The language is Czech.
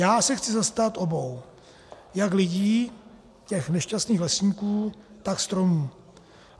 Já se chci zastat obou, jak lidí, těch nešťastných lesníků, tak stromů.